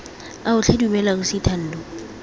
ao tlhe dumela ausi thando